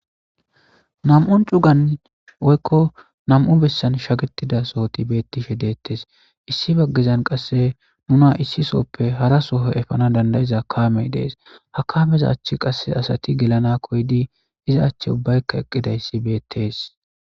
Nam77u cugan woykko nam77u bessan shagetida sohoti beetishe deetees. Issi bagezan qasse nuna issi sohoppe harasohon epana dandda7iza kaamey dees. Ha kaameza achen asati gelana giidi eqqidaysa besees.